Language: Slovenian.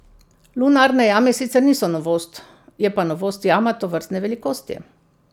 Lunarne jame sicer niso novost, je pa novost jama tovrstne velikosti.